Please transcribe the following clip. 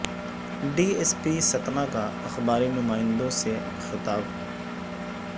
D S P Satna کا اخباری نمائندوں سے خطاب